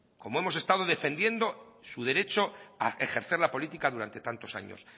como hemos estado defendiendo su derecho a ejercer la política durante tantos años